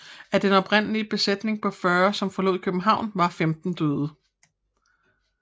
Af den oprindelige besætning på 40 som forlod København var 15 døde